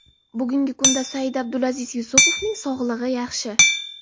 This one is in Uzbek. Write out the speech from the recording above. Bugungi kunda Said-Abdulaziz Yusupovning sog‘lig‘i yaxshi.